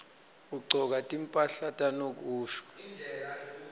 kugcoka timphahla tanokusho